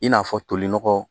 I n'a fɔ tolinɔgɔ